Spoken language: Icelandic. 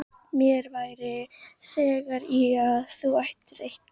Mér væri þægð í að þú ættir eitthvert barn.